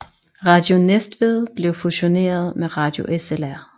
Radio Næstved blev fusioneret med Radio SLR